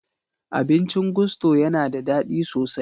Abincin Gusto ya na da daɗi sosai.